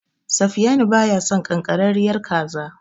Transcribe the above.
Sifiyanu baya son ƙanƙararriyar kaza.